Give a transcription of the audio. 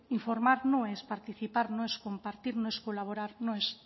informar no es participar no es compartir no es colaborar no es